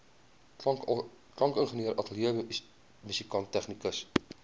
klankingenieur ateljeemusikant tegnikus